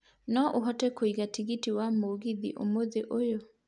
no ũhote kũiga tigiti wa mũgithi ũmũthĩ ũyũ